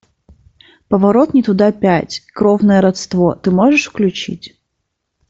поворот не туда пять кровное родство ты можешь включить